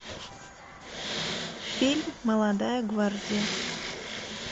фильм молодая гвардия